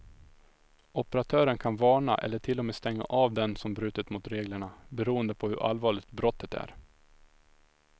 Operatören kan varna eller till och med stänga av den som brutit mot reglerna, beroende på hur allvarligt brottet är.